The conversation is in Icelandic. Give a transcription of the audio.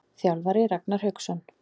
Þjálfari: Ragnar Hauksson.